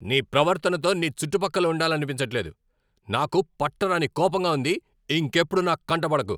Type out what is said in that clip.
నీ ప్రవర్తనతో నీ చుట్టుపక్కల ఉండాలనిపించట్లేదు. నాకు పట్టరాని కోపంగా ఉంది, ఇంకెప్పుడూ నా కంట పడకు.